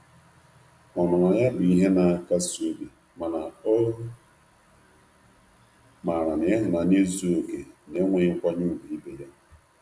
Ọnụnọ ya bụ ihe na nkasi obi mana o mara na ihunanya ezughi oke na-enweghi nkwanye ugwu ibe ya.